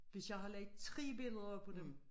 Hvis jeg har lagt 3 billeder om af dem